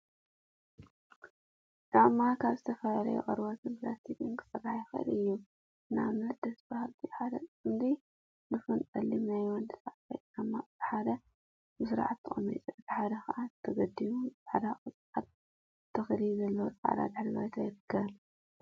ጫማ ካብ ዝተፈላለዩ ቆርበትን ፕላስቲክን ክስራሕ ይክእል እዩ፡፡ ንአብነት ደስ በሃለቲ ሓደ ፅምዲ ድፉን ፀሊም ናይ ወዲ ተባዕታይ ጨማ እቲ ሓደ ብስርዓት ተቀሚጡ እቲ ሓደ ከዓ ተገዲሙ ብፃዕዳ ቆፃል ተክሊ ዘለዎ ፃዕዳ ድሕረ ባይታ ይርከቡ፡፡